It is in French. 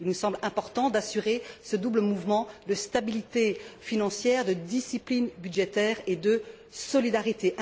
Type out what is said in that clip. Il me semble important d'assurer ce double mouvement de stabilité financière, de discipline budgétaire et de solidarité.